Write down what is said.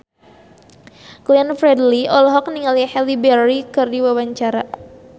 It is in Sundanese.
Glenn Fredly olohok ningali Halle Berry keur diwawancara